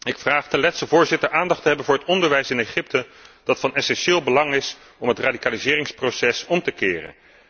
Ik vraag de Letse voorzitter aandacht te hebben voor het onderwijs in Egypte, dat van essentieel belang is om het radicaliseringsproces om te keren.